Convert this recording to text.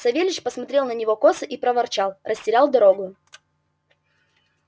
савельич посмотрел на него косо и проворчал растерял дорогою